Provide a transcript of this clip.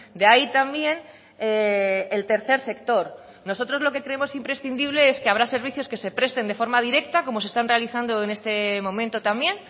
de ahí también el tercer sector nosotros lo que creemos imprescindible es que habrá servicios que se presten de forma directa como se están realizando en este momento también